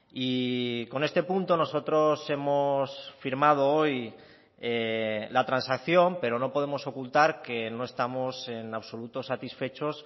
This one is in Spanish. y con este punto nosotros hemos firmado hoy la transacción pero no podemos ocultar que no estamos en absoluto satisfechos